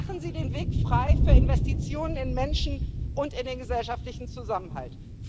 Machen Sie den Weg frei für Investitionen in Menschen und in den gesellschaftlichen Zusammenhalt!